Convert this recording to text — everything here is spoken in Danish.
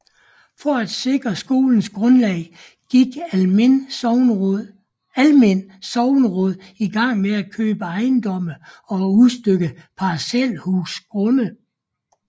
For at sikre skolens grundlag gik Almind sogneråd i gang med at købe ejendomme og udstykke parcelhusgrunde